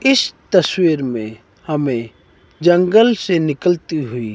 इस तस्वीर मे हमे जंगल से निकलती हुई--